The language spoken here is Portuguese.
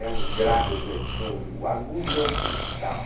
É um grave redondo, o agudo é um cristal.